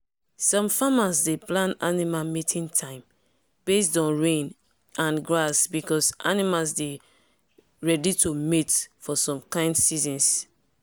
some farmers dey plan animal mating time based on rain and grass because animals dey ready to mate for some kind seasons.